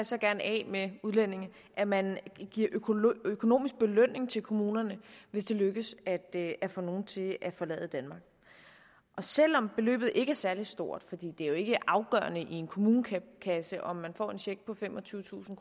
så gerne af med udlændinge at man giver økonomisk belønning til kommunerne hvis det lykkes at få nogle til at forlade danmark selv om beløbet ikke er særlig stort for det er jo ikke afgørende i en kommunekasse om man får en check på femogtyvetusind